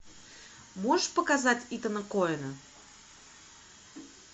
можешь показать итана коэна